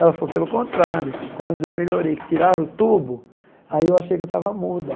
Ela falou, pelo contrário, quando eu melhorei, que tiraram o tubo, aí eu achei que eu estava muda.